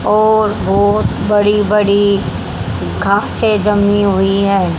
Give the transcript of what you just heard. और बहोत बड़ी बड़ी घासे जमी हुई है।